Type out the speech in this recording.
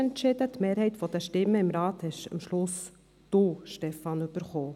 Die Mehrheit der Stimmen aus dem Rat erhielten am Schluss Sie, Stefan Costa.